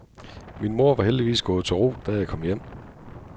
Min mor var heldigvis gået til ro, da jeg kom hjem.